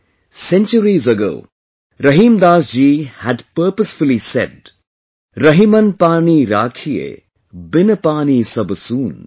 Centuries ago, Rahimdas ji had purposefull said 'Rahiman paani raakhiye, bin paani sab soon'